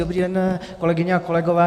Dobrý den, kolegyně a kolegové.